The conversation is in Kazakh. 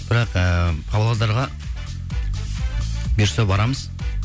бірақ ііі павлодарға бұйырса барамыз